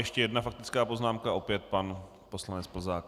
Ještě jedna faktická poznámka, opět pan poslanec Plzák.